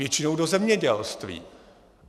Většinou do zemědělství.